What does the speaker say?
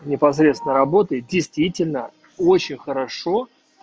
непосредственно работает действительно очень хорошо